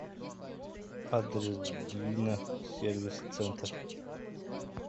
адрес двина сервис центр